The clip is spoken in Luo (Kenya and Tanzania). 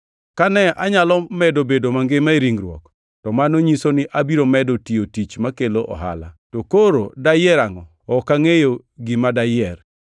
Kane anyalo medo bedo mangima e ringruok, to mano nyiso ni abiro medo tiyo tich makelo ohala. To koro dayier angʼo? Ok angʼeyo gima dayier!